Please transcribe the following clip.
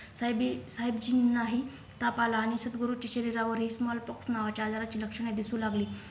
साहेबी साहेबजीनाही ताप आला आणि सद्गुरु चे शरीरावर एक Smallpox नावाचे आजाराची लक्षणे दिसू लागली.